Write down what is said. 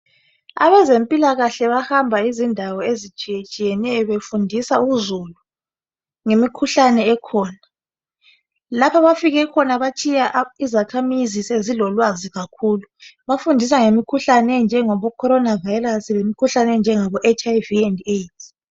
Abazempilakahle bahamba izindawo ezitshiyetshiyeneyo befundisa uzulu ngemikhuhlane ekhona. Lapho abafike khona batshiya izakhamuzi zilolwazi kakhulu. Bafundisa ngemikhuhlane enjengabo corona virus lemikhuhlane enjengabo HIV and AIDS.